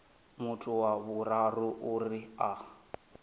muthu wa vhuraru uri a